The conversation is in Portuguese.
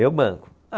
Eu banco.